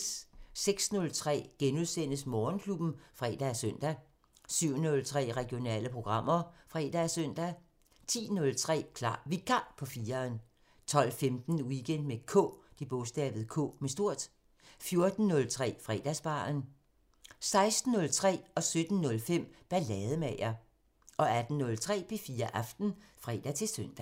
06:03: Morgenklubben (fre og søn) 07:03: Regionale programmer (fre og søn) 10:03: Klar Vikar på 4'eren 12:15: Weekend med K 14:03: Fredagsbaren 16:03: Ballademager 17:05: Ballademager 18:03: P4 Aften (fre-søn)